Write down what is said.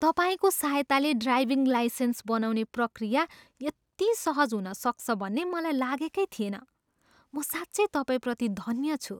तपाईँको सहायताले driving licence बनाउने प्रक्रिया यति सहज हुन सक्छ भन्ने मलाई लागेकै थिएन। म साँच्चै तपाईँप्रति धन्य छु!